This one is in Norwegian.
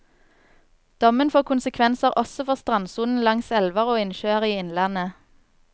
Dommen får konsekvenser også for strandsonen langs elver og innsjøer i innlandet.